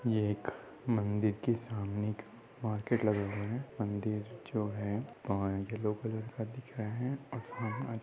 यह एक मंदिर के सामने मार्केट लगा हुआ है। मंदिर जो है यल्लो कलर का दिख रहा है और सामने।